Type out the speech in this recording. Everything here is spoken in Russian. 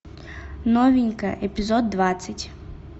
новенькая эпизод двадцать